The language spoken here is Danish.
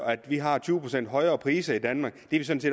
at vi har tyve procent højere priser i danmark